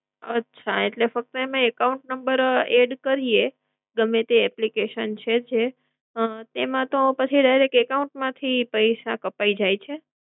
અચ્છા એટલે ફક્ત એમાં account number add કરીયે ગમે તે application છે જે હમ એમાં તો પછી direct account માંથી પૈસા કપાય જાય છે?